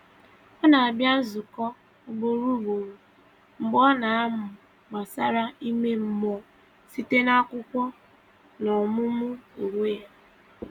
Ọ na-abịa nzukọ ugboro ugboro, mgbe ọ na-amụ gbasàra ime mmụọ site n’akwụkwọ na ọmụmụ onwe ya.